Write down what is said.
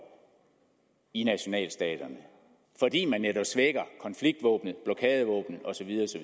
i nationalstaterne fordi man netop svækker konfliktvåbnet blokadevåbnet og